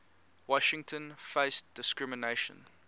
washington faced discrimination